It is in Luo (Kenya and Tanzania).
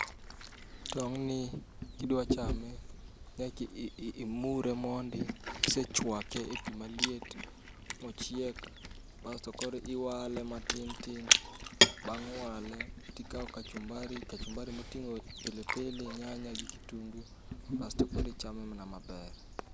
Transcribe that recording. Tong' ni kidwa chame nyaki i mure mondi, kisechwake e pi maliet mochiek. Basto koro iwale matin tin, bang' wale tikawo kachumbari, kachumbari moting'o pilipili, nyanya gi kitungu, basto korichame mana maber.